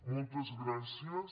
moltes gràcies